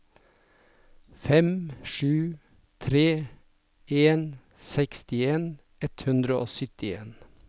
fem sju tre en sekstien ett hundre og syttien